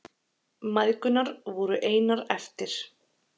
Mæðgurnar voru einar eftir.